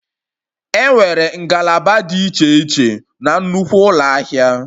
Enwere ngalaba dị iche iche na nnukwu ụlọ ahịa